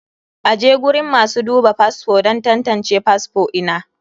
aje guriun masu duba fasfo don tantance fasfo ina.